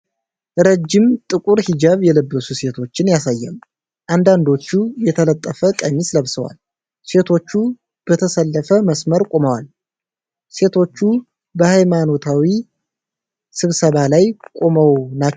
ረጅም ጥቁር ሂጃብ የለበሱ ሴቶችን ያሳያል። አንዳንዶቹ የተለጠፈ ቀሚስ ለብሰዋል። ሴቶቹ በተሰለፈ መስመር ቆመዋል። ሴቶቹ በሃይማኖታዊ ስብሰባ ላይ ቆመው ናቸው?